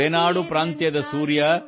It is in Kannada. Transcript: ರೇನಾಡು ಪ್ರಾಂತ್ಯದ ಸೂರ್ಯ